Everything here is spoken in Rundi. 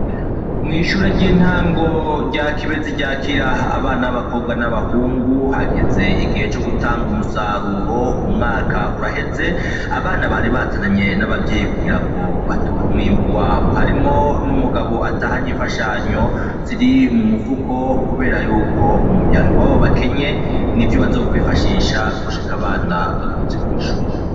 Mw'ishure ry'intango rya kibe zi ryakira abana 'abakobwa n'abahungu hageze igihe co gutanga umusaruro umwaka uraheze abana bari bazanye n'abavyeyi kugira ngo batora umwimbu wabo harimwo n'umugabo atahanye imfashanyo ziri mu mupfuko, kubera yuko mu muryango wawo be enye ni vyo bazokwifashisha gushika abana bagarutse kw'ishure.